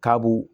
Ka b'u